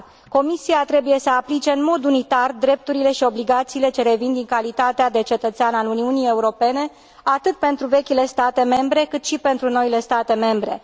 Comisia trebuie să aplice în mod unitar drepturile și obligațiile ce revin din calitatea de cetățean al Uniunii Europene, atât pentru vechile state membre, cât și pentru noile state membre.